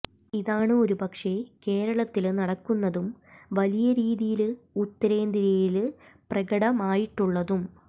ഇതാണ് ഒരുപക്ഷേ കേരളത്തില് നടക്കുന്നതും വലിയ രീതിയില് ഉത്തരേന്ത്യയില് പ്രകടമായിട്ടുള്ളതും